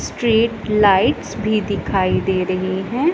Street lights भी दिखाई दे रही हैं।